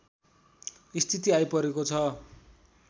स्थिति आइपरेको छ